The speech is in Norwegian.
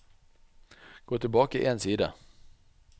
Gå tilbake én side